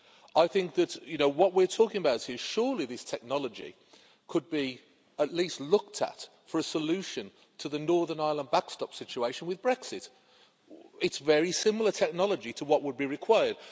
I think that what we're talking about here surely this technology could be at least looked at for a solution to the Northern Ireland backstop situation with Brexit. it is very similar technology to what would be required.